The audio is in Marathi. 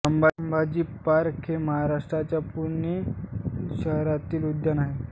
संभाजी पार्क हे महाराष्ट्राच्या पुणे शहरातील उद्यान आहे